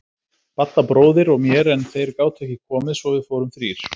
Badda bróðir og mér en þeir gátu ekki komið svo við fórum þrír.